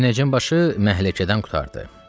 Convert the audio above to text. Münəccimbaşı məhləkədən qurtardı.